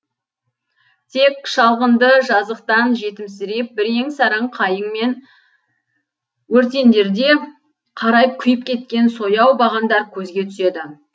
тек шалғынды жазықтан жетімсіреп бірең сараң қайың мен өртендерде қарайып күйіп кеткен сояу бағандар көзге түседі